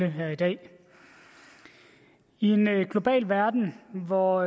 her i dag i en global verden hvor